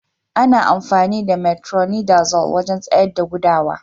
Ana amfani da "metronidazole" wajen tsayar da gudawa.